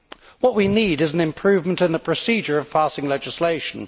What we need is an improvement in the procedure of passing legislation.